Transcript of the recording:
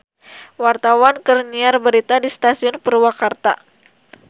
Wartawan keur nyiar berita di Stasiun Purwakarta